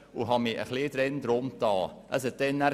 Ich befasste mich damals damit.